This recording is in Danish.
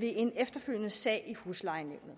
ved en efterfølgende sag i huslejenævnet